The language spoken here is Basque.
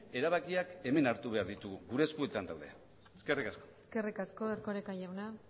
erabakiak hemen hartu behar ditugu gure eskuetan daude eskerrik asko eskerrik asko erkoreka jauna